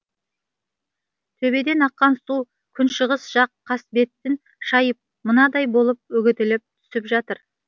төбеден аққан су күншығыс жақ қасбетін шайып мынадай болып үгітіліп түсіп жатыр